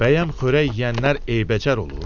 Bəyəm xörək yeyənlər eybəcər olur?